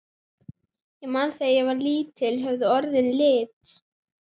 Ég man að þegar ég var lítill höfðu orðin lit.